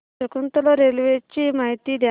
Shakuntala railway ची माहिती द्या